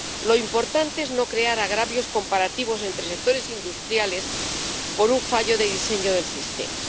Lo importante es no crear agravios comparativos entre sectores industriales por un fallo de diseño del sistema.